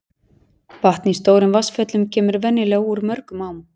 vatn í stórum vatnsföllum kemur venjulega úr mörgum ám